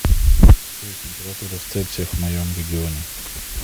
джой температура в цельсиях в моем регионе